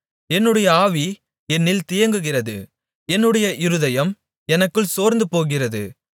என்னுடைய ஆவி என்னில் தியங்குகிறது என்னுடைய இருதயம் எனக்குள் சோர்ந்துபோகிறது